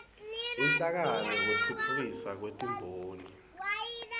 inhlangano yekutfutfukiswa kwetimboni